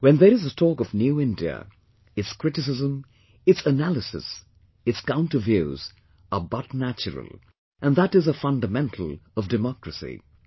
When there is a talk of 'New India', its criticism, its analysis, it counter views, are but natural, and that is a fundamental of democracy